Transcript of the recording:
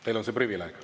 Teil on see privileeg.